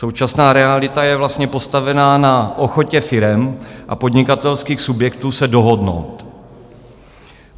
Současná realita je vlastně postavená na ochotě firem a podnikatelských subjektů se dohodnout.